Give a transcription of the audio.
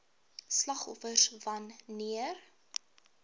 slagoffers wan neer